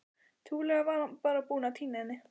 Trúlega var hann bara búinn að týna henni.